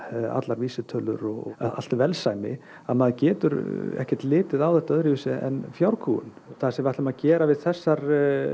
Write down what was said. allar vísitölur og allt velsæmi að maður getur ekki litið á þetta öðruvísi en fjárkúgun það sem við ætlum að gera við þessar